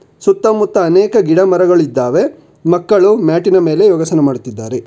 ಸುತ್ತಮುತ್ತ ಅನೇಕ ಗಿಡ ಮರಗಳಿದ್ದಾವೆ ಮಕ್ಕಳು ಮ್ಯಾಟಿ ನ ಮೇಲೆ ಯೋಗಾಸನ ಮಾಡುತ್ತಿದ್ದಾರೆ.